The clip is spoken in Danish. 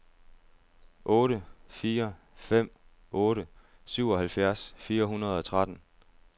otte fire fem otte syvoghalvfjerds fire hundrede og tretten